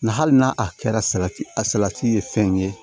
Nga hali n'a a kɛra salati a salati ye fɛn ye